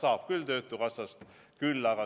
Vastus on, et jah, saab küll.